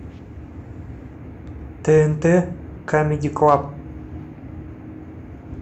тнт камеди клаб